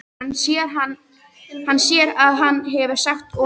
Hann sér að hann hefur sagt of mikið.